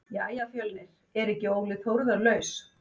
Jæja Fjölnir er ekki Óli Þórðar laus?